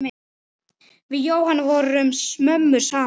Við Jóhanna vorum mömmur saman.